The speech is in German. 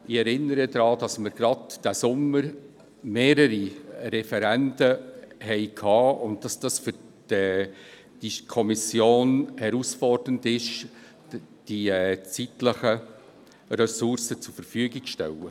Ich erinnere daran, dass wir gerade diesen Sommer mehrere Referenden hatten und es für die Kommission herausfordernd ist, die zeitlichen Ressourcen zur Verfügung zu stellen.